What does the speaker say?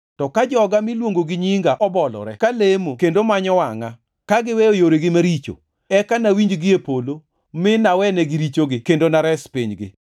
to ka joga miluongo gi nyinga obolore ka lemo kendo manyo wangʼa, ka giweyo yoregi maricho, eka nawinj gie polo, mi nawenegi richogi kendo nares pinygi.